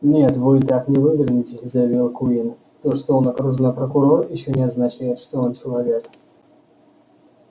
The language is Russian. нет вы так не вывернетесь заявил куинн то что он окружной прокурор ещё не означает что он человек